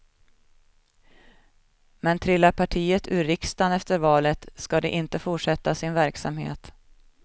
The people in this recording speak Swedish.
Men trillar partiet ur riksdagen efter valet ska det inte fortsätta sin verksamhet.